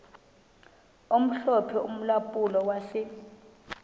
omhlophe ulampulo wase